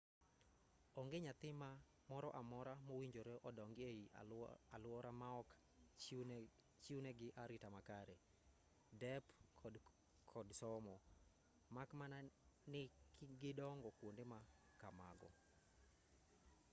onge nyathi moro amora mowinjore odongi ei alwora maok chiwnegi arita makare dep to kod somo mak mana ni gidongo kwonde ma kamago